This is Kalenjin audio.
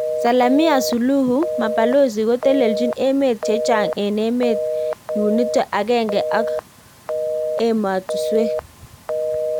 samia suluhu ,mabalozi kotelechin emet che chaag en emet yunito agenge ak amatuswek